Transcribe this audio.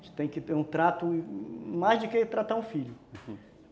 A gente tem que ter um trato, mais do que tratar um filho.